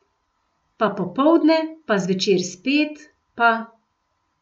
Pa popoldne , pa zvečer spet, pa ...